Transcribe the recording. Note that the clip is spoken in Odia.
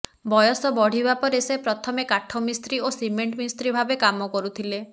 ବୟସ ବଢିବା ପରେ ସେ ପ୍ରଥମେ କାଠମିସ୍ତ୍ରୀ ଓ ସିମେଣ୍ଟ ମିସ୍ତ୍ରୀ ଭାବେ କାମ କରୁଥିଲେ